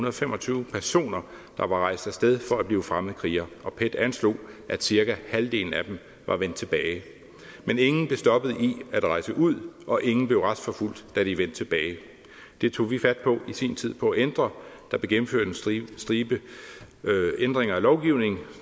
og fem og tyve personer der var rejst af sted for at blive fremmedkrigere og pet anslog at cirka halvdelen af dem var vendt tilbage men ingen blev stoppet i at rejse ud og ingen blev retsforfulgt da de vendte tilbage det tog vi fat på i sin tid på at ændre der blev gennemført en stribe ændringer af lovgivningen